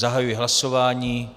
Zahajuji hlasování.